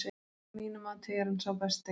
Að mínu mati er hann sá besti.